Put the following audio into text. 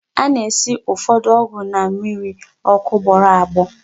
A na-esi ụfọdụ ọgwụ na mmịrị ọkụ gbọrọ agbọ.